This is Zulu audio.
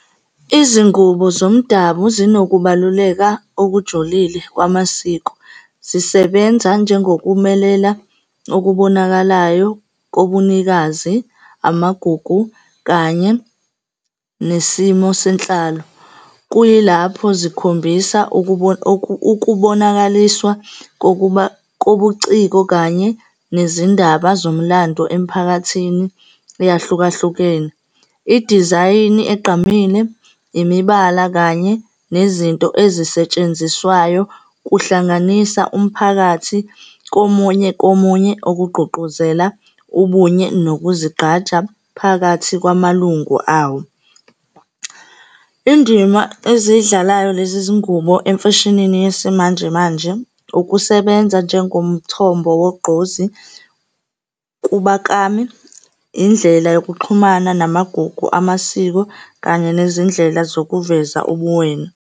Izingubo zomdabu zinokubaluleka okujulile kwamasiko. Zisebenza njengokumelela okubonakalayo kobunikazi, amagugu kanye nesimo senhlalo. Kuyilapho zikhombisa ukubonakaliswa kobuciko kanye nezindaba zomlando emphakathini eyahlukahlukene. Idizayini egqamile, imibala kanye nezinto ezisetshenziswayo kuhlanganisa umphakathi komunye komunye, okugqugquzela ubunye nokuzigqaja phakathi kwamalungu awo. Indima ezidlalayo lezi zingubo emfeshinini yesimanjemanje, ukusebenza njengomthombo wogqozi kubaklami, indlela yokuxhumana namagugu amasiko, kanye nezindlela zokuveza ubuwena.